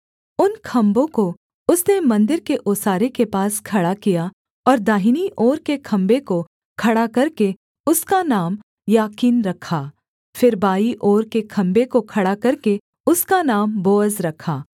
उन खम्भों को उसने मन्दिर के ओसारे के पास खड़ा किया और दाहिनी ओर के खम्भे को खड़ा करके उसका नाम याकीन रखा फिर बाईं ओर के खम्भे को खड़ा करके उसका नाम बोअज रखा